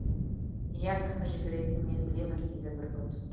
ия кім жіберетінін мен білемін дейді бүркіт